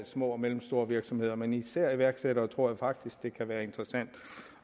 små og mellemstore virksomheder men især i iværksættere tror jeg faktisk det kan være interessant